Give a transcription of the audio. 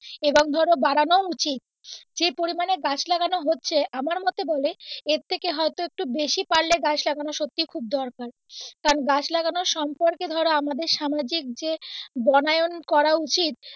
এবং ধরো বাড়ানো উচিৎ যে পরিমানে গাছ লাগানো হচ্ছে সে পরিমানে এর থেকে হয়তো বেশি পারলে গাছ লাগানো সত্যি খুব দরকার কারন গাছ লাগানো সম্পর্কে ধরো আমাদের সামাজিক যে বনায়ন করা উচিৎ,